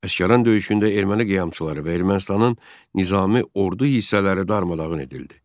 Əsgəran döyüşündə erməni qiyamçıları və Ermənistanın nizami ordu hissələri darmadağın edildi.